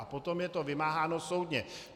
A potom je to vymáháno soudně.